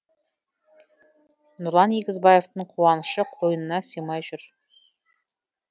нұрлан егізбаевтың қуанышы қойнына сыймай жүр